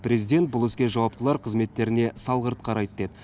президент бұл іске жауаптылар қызметтеріне салғырт қарайды деді